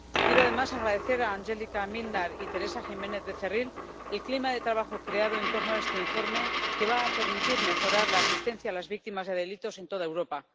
Quiero, además, agradecer a Angelika Mlinar y Teresa Jiménez-Becerril el clima de trabajo creado en torno a este informe, que va a permitir mejorar la asistencia a las víctimas de delitos en toda Europa.